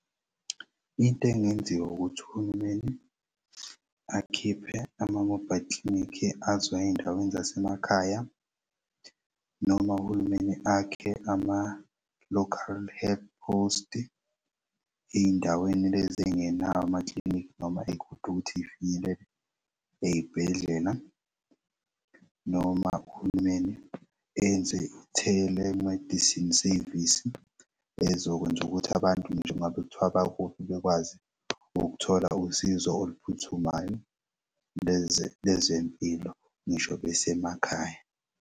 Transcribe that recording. Into engenziwa ukuthi uhulumeni akhiphe ama-mobile clinic azoy'ey'ndaweni zasemakhaya noma uhulumeni akhe ama-local head post ey'ndaweni lezi engenawo amaklinikhi noma ey'kude ukuthi y'finyelele ey'bhedlela noma uhulumeni enze-telemedicine sevisi ezokwenza ukuthi abantu nje kungabe kuthiwa bakuphi bekwazi ukuthola usizo oluphuthumayo lezempilo ngisho besemakhaya.